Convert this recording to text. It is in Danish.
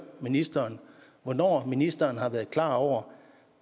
ministeren hvornår ministeren har været klar over